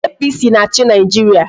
APC na-achị Nigeria